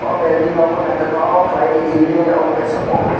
o belding nogo naitotok kelaioe india ni obo kaisa office.